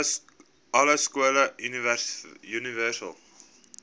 alle skole universele